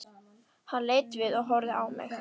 Hann leit við og horfði á mig.